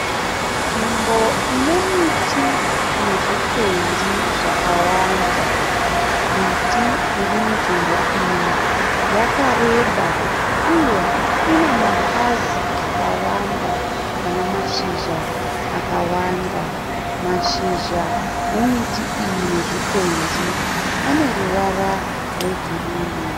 Nzvimbo ine miti nezvikwenzi zvakawanda. Miti iri munzvimbo iyi yakareba uye ine mapazi akawanda ane mashizha akawanda. Mashizha emiti iyi nezvikwenzi ane ruvara rwegirinhi.